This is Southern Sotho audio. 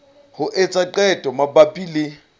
ho etsa qeto mabapi le